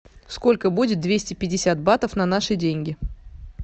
сколько будет двести пятьдесят батов на наши деньги